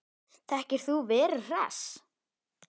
Þekkir þú Veru Hress?